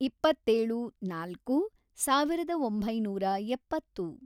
ಇಪ್ಪತ್ತೇಳು, ನಾಲ್ಕು, ಸಾವಿರದ ಒಂಬೈನೂರ ಎಪ್ಪತ್ತು